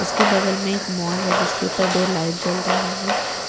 इसके बगल में एक मॉल है जिसके ऊपर दो लाइट जल रहा है।